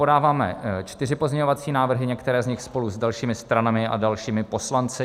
Podáváme čtyři pozměňovací návrhy, některé z nich spolu s dalšími stranami a dalšími poslanci.